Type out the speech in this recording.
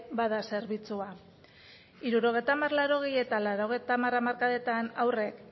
bada zerbitzua hirurogeita hamar laurogei eta laurogeita hamar hamarkadetan haurrek